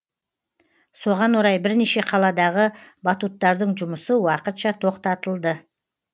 соған орай бірнеше қаладағы батуттардың жұмысы уақытша тоқта тоқтатылды